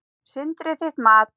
Sindri: Þitt mat?